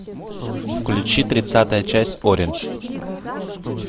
включи тридцатая часть ориндж